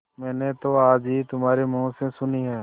मैंने तो आज ही तुम्हारे मुँह से सुनी है